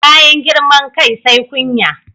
Bayan girman kai sai kunya.